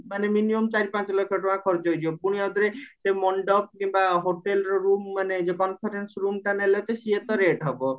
ମାନେ minimum ପାଞ୍ଚ ଲକ୍ଷ ଟଙ୍କା ଖରଚ ହେଇଯିବ ପୁଣି ଆଉ ଥରେ ମଣ୍ଡପ କିମ୍ବା hotelର room ମାନେ ଯୋଉ conference room ଟା ନେଲ ଯେ ସିଏ ତ rate ହବ